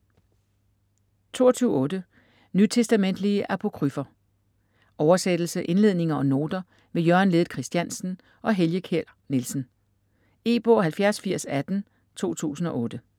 22.8 Nytestamentlige apokryfer Oversættelse, indledninger og noter ved Jørgen Ledet Christiansen og Helge Kjær Nielsen. E-bog 708018 2008.